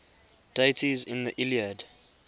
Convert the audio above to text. deities in the iliad